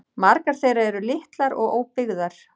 Margar þeirra eru litlar og óbyggðar